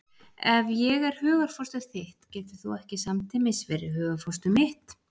Ef ég er hugarfóstur þitt getur þú ekki samtímis verið hugarfóstur mitt.